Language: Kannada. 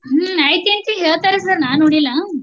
ಹ್ಮ್‌ ಐತಂತಿ ಹೇಳ್ತಾರೆ sir ನಾನೋಡಿಲ್ಲಾ.